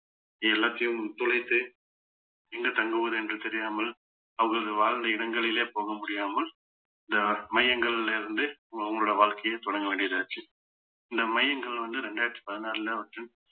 எல்லாத்தையும் தொலைத்து எங்க தங்குவது என்று தெரியாமல் அவர்கள் வாழ்ந்த இடங்களிலே போக முடியாமல் இந்த மையங்களிலே இருந்து உ~ உங்களுடைய வாழ்க்கையை தொடங்க வேண்டியதாச்சு இந்த மையங்கள் வந்து ரெண்டாயிரத்தி பதினாறுல வந்து